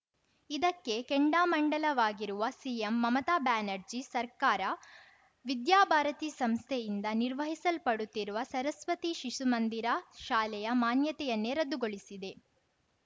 ಇದಕ್ಕೆ ಕೆಂಡಾಮಂಡಲವಾಗಿರುವ ಸಿಎಂ ಮಮತಾ ಬ್ಯಾನರ್ಜಿ ಸರ್ಕಾರ ವಿದ್ಯಾ ಭಾರತಿ ಸಂಸ್ಥೆಯಿಂದ ನಿರ್ವಹಿಸಲ್ಪಡುತ್ತಿರುವ ಸರಸ್ವತಿ ಶಿಶು ಮಂದಿರ ಶಾಲೆಯ ಮಾನ್ಯತೆಯನ್ನೇ ರದ್ದುಗೊಳಿಸಿದೆ